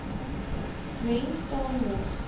mens staan mos